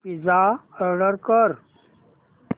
pizza order कर